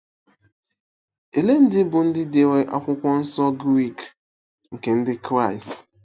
Ole ndị bụ́ ndị dere Akwụkwọ Nsọ Grik nke Ndị Kraịst?